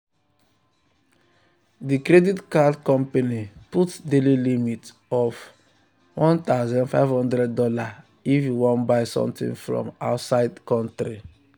the credit card company put daily limit of one thousand five hundred dollars if you wan buy something from outside country.